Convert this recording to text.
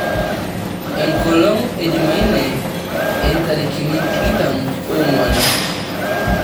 enkolong' e jumaine intarikini tikitam oong'uan